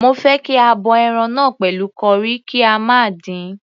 Mo fẹ́ kí a bọ ẹran náà pẹ̀lú curry, kí a má dín-in..